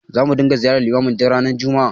Zamu ringa ziyartar limamin duk ranar juma'a.